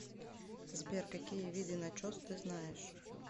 сбер какие виды начос ты знаешь